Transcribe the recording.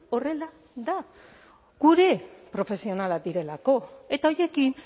horrela da gure profesionalak direlako eta horiekin